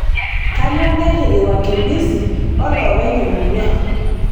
Kainyoo nairriki wakimbisi oo loopeny emurua